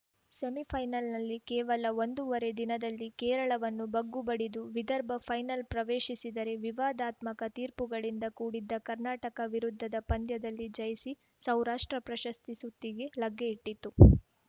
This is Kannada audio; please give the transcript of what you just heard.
ಸೆಮಿಫೈನಲ್‌ನಲ್ಲಿ ಕೇವಲ ಒಂದೂವರೆ ದಿನದಲ್ಲಿ ಕೇರಳವನ್ನು ಬಗ್ಗುಬಡಿದು ವಿದರ್ಭ ಫೈನಲ್‌ ಪ್ರವೇಶಿಸಿದರೆ ವಿವಾದಾತ್ಮಕ ತೀರ್ಪುಗಳಿಂದ ಕೂಡಿದ್ದ ಕರ್ನಾಟಕ ವಿರುದ್ಧದ ಪಂದ್ಯದಲ್ಲಿ ಜಯಿಸಿ ಸೌರಾಷ್ಟ್ರ ಪ್ರಶಸ್ತಿ ಸುತ್ತಿಗೆ ಲಗ್ಗೆಯಿಟ್ಟತು